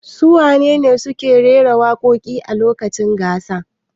Su wane ne wadanda suke rera waƙoƙi a lokacin gasar?